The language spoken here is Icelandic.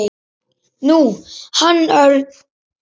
Nú, hann Örn.